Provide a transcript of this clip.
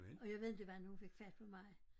Og jeg ved inte hvordan hun fik fat på mig